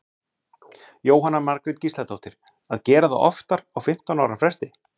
Jóhanna Margrét Gísladóttir: Að gera það oftar á fimmtán ára fresti?